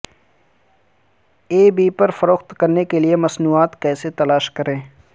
ای بے پر فروخت کرنے کے لئے مصنوعات کیسے تلاش کریں